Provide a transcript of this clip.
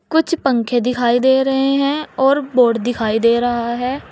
कुछ पंखे दिखाई दे रहे हैं और बोर्ड दिखाई दे रहा है।